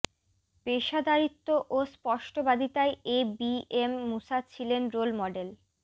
পেশাদারিত্ব ও স্পস্টবাদিতায় এ বি এম মূসা ছিলেন রোল মডেল